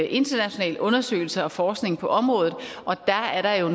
internationale undersøgelser og forskning på området og der er der jo